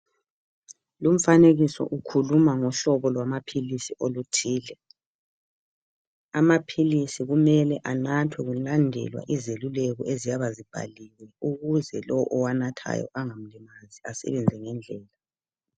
Lumfanekiso ukhuluma ngohlobo lwamaphilisi oluthile. Amaphilisi kumele anathwe kulandelwa izeluleko eziyabe zibhaliwe ukuze lowu owanathayo angamlimazi esebenze ngendlela.